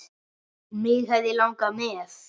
Mig hefði langað með.